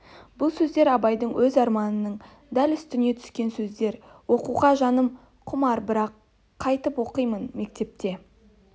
бұл сөздер абайдың өз арманының дәл үстінен түскен сөздер оқуға жаным құмар бірақ қайтіп оқимын мектепке